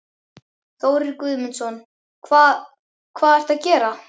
Þórir Guðmundsson: Hvað, hvað ertu að gera?